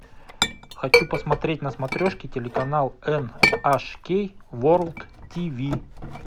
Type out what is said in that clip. хочу посмотреть на смотрешке телеканал эн аш кей ворлд ти ви